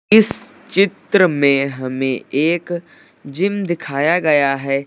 इस चित्र में हमें एक जिम दिखाया गया है।